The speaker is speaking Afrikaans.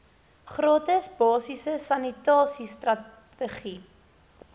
gratis basiese sanitasiestrategie